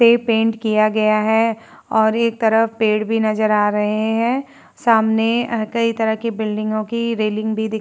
से पेंट किया गया है और एक तरफ पेड़ भी नजर आ रहे हैं। सामने कई तरह की बिल्डिंगों की रैलिंग भी दिख --